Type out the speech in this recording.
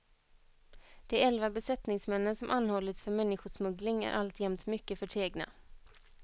De elva besättningsmännen som anhållits för människosmuggling är alltjämt mycket förtegna.